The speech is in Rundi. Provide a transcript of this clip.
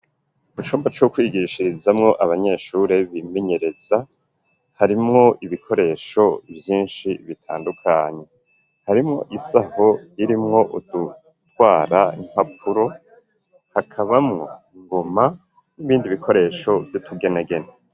Mu cumba c'o kwigishirizamwo, abanyeshuri bimenyereza, harimwo ibikoresho vyinshi bitandukanye ,harimwo isaho irimwo udutwara impapuro ,hakaba mw'i ngoma nibindi bikoresho vy'itugenegene.